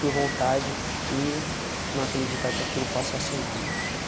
Por vontade e não acreditar que aquilo passa a ser nada.